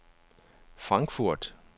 Frankfurt